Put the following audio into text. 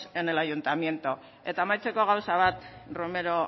en el ayuntamiento eta amaitzeko gauza bat romero